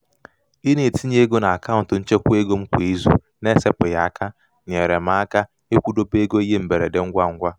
ị na-etinye ego n'akaụntụ nchekwaego m kwa izu na-esepụghị aka nyeere m aka ịkwụdobe ego ihe mberede ngwangwa.